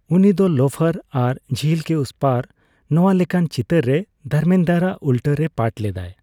ᱩᱱᱤ ᱫᱚ ᱞᱳᱯᱷᱟᱨ ᱟᱨ ᱡᱷᱤᱞ ᱠᱮ ᱩᱥ ᱯᱟᱨᱼᱱᱚᱣᱟ ᱞᱮᱠᱟᱱ ᱪᱤᱛᱟᱹᱨ ᱨᱮ ᱫᱷᱚᱨᱢᱮᱱᱫᱨᱚ ᱟᱜ ᱩᱞᱴᱟᱹ ᱨᱮᱭ ᱯᱟᱴ ᱞᱮᱫᱟᱭ ᱾